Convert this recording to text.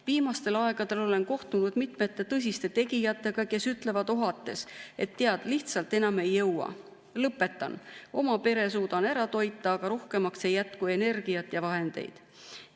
Viimasel ajal olen kohtunud mitme tõsise tegijaga, kes ütlevad ohates, et tead, lihtsalt enam ei jõua, lõpetan, oma pere suudan ära toita, aga rohkemaks ei jätku energiat ja vahendeid.